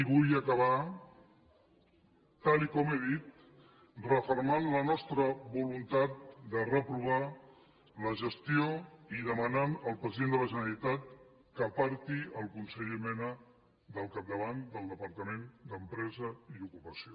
i vull acabar tal com he dit refermant la nostra voluntat de reprovar la gestió i demanant al president de la generalitat que aparti el conseller mena del capdavant del departament d’empresa i ocupació